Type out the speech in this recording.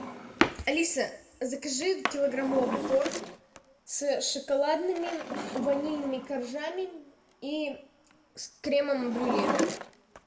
алиса закажи килограммовый торт с шоколадными ванильными коржами и с кремом брюле